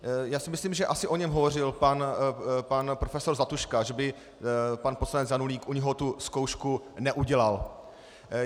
Já si myslím, že asi o něm hovořil pan profesor Zlatuška, že by pan poslanec Janulík u něho tu zkoušku neudělal.